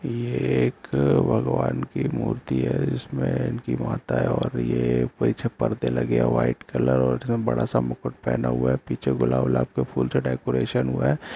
यह एक भगवान की मूर्ति है जिसमे इनकी माता है और ये पीछे पर्दे लगे है व्हाइट कलर और ये बड़ा सा मुकुट पहना हुआ है पीछे गुलाब वुलाब के फूल से डेकोरेशन हुआ है।